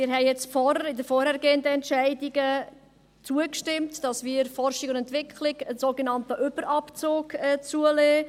Wir haben vorhin, bei den vorangegangenen Entscheidungen zugestimmt, dass wir bei der Forschung und Entwicklung einen sogenannten Überabzug zulassen.